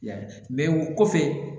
I y'a ye o kɔfɛ